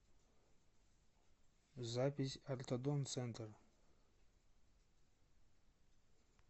запись ортодонт центр